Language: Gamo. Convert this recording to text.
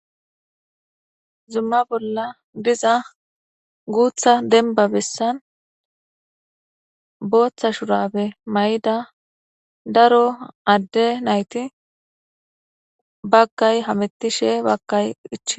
Zuma bolla diza guuththa dembba bessan booththa shurabe mayida daro adde nayti baggay hamettishe baggay ichchides.